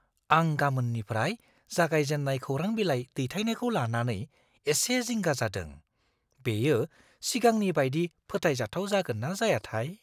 आं गामोननिफ्राय जागायजेन्नाय खौरांबिलाइ दैथायनायखौ लानानै एसे जिंगा जादों। बेयो सिगांनि बायदि फोथायजाथाव जागोन ना जायाथाय?